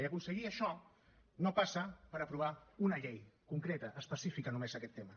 i aconseguir això no passa per aprovar una llei concreta específica només d’aquest tema